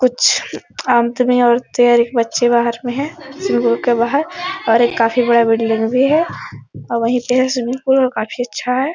कुछ अंत में बच्चे बाहर में है और एक काफी बड़ा बिल्डिंग भी हैऔर वही पे है स्विमिंग पूल है और काफी अच्छा है ।